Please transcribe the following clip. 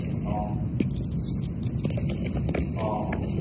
હા આહા.